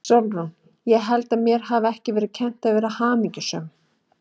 SÓLRÚN: Ég held að mér hafi ekki verið kennt að vera hamingjusöm.